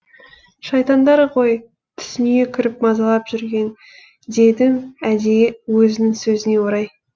шайтандар ғой түсіңе кіріп мазалап жүрген дедім әдейі өзінің сөзіне орай